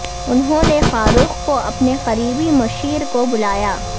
انہوں نے فاروق کو اپنے قریبی مشیر کو بلایا